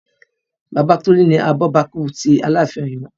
Bàbá Tolu ni abọ́bakú tí Aláàfin Oyo